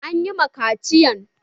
An yi ma ƙaciyan?